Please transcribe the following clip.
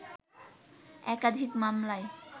একাধিক মামলায়